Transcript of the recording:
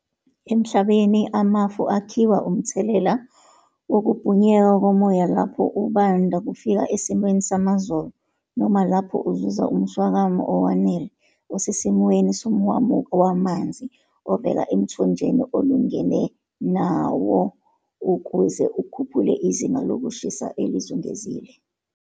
Emhlabeni, amafu akhiwa umthelela wokubhunyeka komoya lapho ubanda kufika esimweni samazolo, noma lapho uzuza umswakama owanele, osesimweni somhwamuko wamanzi, ovela emthonjeni olungene nawo ukuze ukhuphule izinga lokushisa elizungezile.